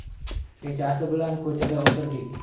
Kechasi bilan ko‘chada o‘tirdik.